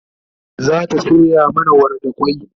zata soya mana wara da kwai